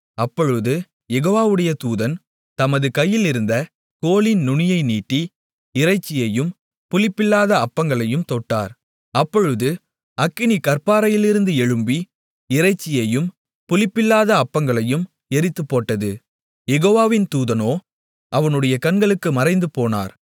அப்பொழுது யெகோவாவுடைய தூதன் தமது கையிலிருந்த கோலின் நுனியை நீட்டி இறைச்சியையும் புளிப்பில்லாத அப்பங்களையும் தொட்டார் அப்பொழுது அக்கினி கற்பாறையிலிருந்து எழும்பி இறைச்சியையும் புளிப்பில்லாத அப்பங்களையும் எரித்துப்போட்டது யெகோவாவின் தூதனோ அவனுடைய கண்களுக்கு மறைந்துபோனார்